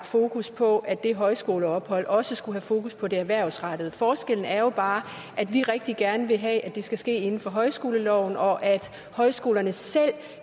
fokus på at det højskoleophold også skulle have fokus på det erhvervsrettede forskellen er jo bare at vi rigtig gerne vil have det skal ske inden for højskoleloven og at højskolerne selv